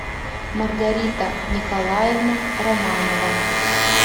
маргарита николаевна романова